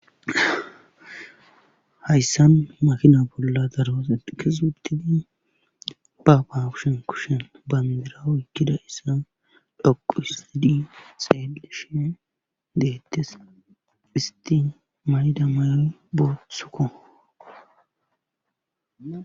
hayssan makina bolla daro asati kezi uuttidi baaba kushen kushen bandira oykkida issa dhoqu hisidi xeeleshe deettes isti mayda mayoy boothukko